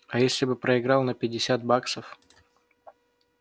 а если бы проиграл на пятьдесят баксов